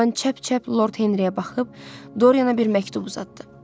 Bağban çəp-çəp Lord Henriyə baxıb, Doriana bir məktub uzatdı.